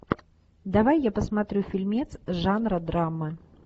давай я посмотрю фильмец жанра драма